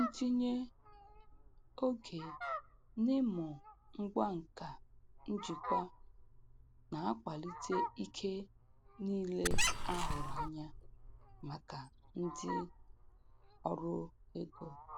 Ntinye oge n'ịmụ ngwa nka njikwa na-akwalite ike niile a hụrụ anya maka ndị ụlọ ọrụ ego.